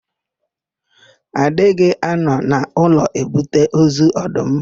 A dịghị anọ n'ụlọ ebute ozu ọdụm.